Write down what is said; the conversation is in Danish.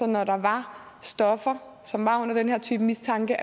at når der var stoffer som var under den her type mistanke